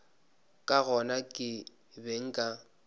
ka gona ke be nka